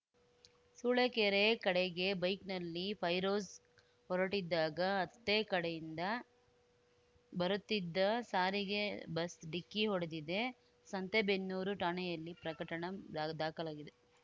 ಸೂಳೆಕೆರೆ ಕಡೆಗೆ ಬೈಕ್‌ನಲ್ಲಿ ಫೈರೋಜ್‌ ಹೊರಟಿದ್ದಾಗ ಅತ್ತೆ ಕಡೆಯಿಂದ ಬರುತ್ತಿದ್ದ ಸಾರಿಗೆ ಬಸ್‌ ಡಿಕ್ಕಿ ಹೊಡೆದಿದೆ ಸಂತೇಬೆನ್ನೂರು ಠಾಣೆಯಲ್ಲಿ ಪ್ರಕಟಣೆ ದಾಖಲಾಗಿದೆ